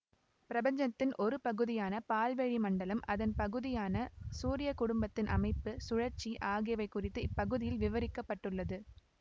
பிரபஞ்சத்தின் ஒரு பகுதியான பால்வெளி மண்டலம் அதன் பகுதியான சூரிய குடும்பத்தின் அமைப்பு சுழற்சி ஆகியவை குறித்து இப்பகுதியில் விவரிக்க பட்டுள்ளது